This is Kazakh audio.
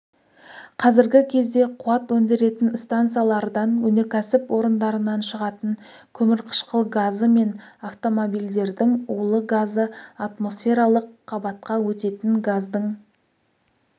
қазіргі кезде қуат өндіретін стансалардан өнеркәсіп орындарынан шығатын көмірқышқыл газы мен автомобильдердің улы газы атмосфералық қабатқа өтетін газдың